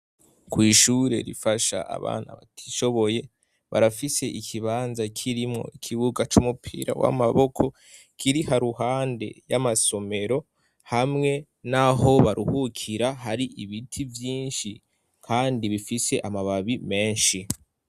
Kw'ishure rifasha abana batishoboye, barafise ikibanza kirimwo ikibuga c'umupira w'amaboko kiri haruhande y'amasomero, hamwe n'aho baruhukira hari ibiti vyinshi kandi bifise amababi menshi.